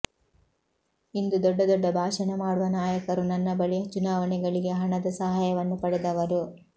ಇಂದು ದೊಡ್ಡ ದೊಡ್ಡ ಭಾಷಣ ಮಾಡುವ ನಾಯಕರು ನನ್ನ ಬಳಿ ಚುನಾವಣೆಗಳಿಗೆ ಹಣದ ಸಹಾಯವನ್ನು ಪಡೆದವರು